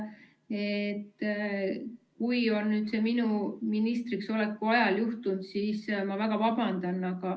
Kui see on nüüd minu ministriks oleku ajal juhtunud, siis ma väga vabandan.